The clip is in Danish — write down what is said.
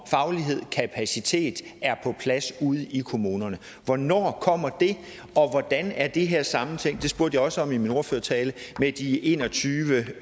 kapacitet er på plads ude i kommunerne hvornår kommer det og hvordan er det her sammentænkt det spurgte jeg også om i min ordførertale med de en og tyve